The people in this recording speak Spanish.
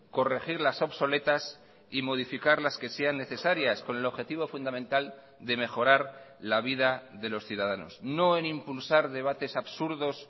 corregir las obsoletas y modificar las que sean necesarias con el objetivo fundamental de mejorar la vida de los ciudadanos no en impulsar debates absurdos